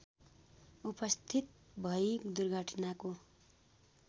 उपस्थित भई दुर्घटनाको